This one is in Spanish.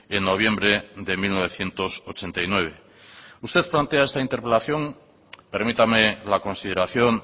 en noviembre de mil novecientos ochenta y nueve usted plantea esta interpelación permítame la consideración